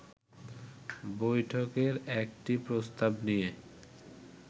বৈঠকেরএকটি প্রস্তাবনিয়ে